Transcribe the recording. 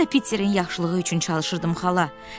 Mən də Piterin yaxşılığı üçün çalışırdım xala.